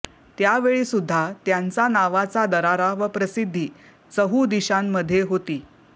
त्यावेळी सुध्दा त्यांचा नावाचा दरारा व प्रसिद्धि चहू दिशांमधे होती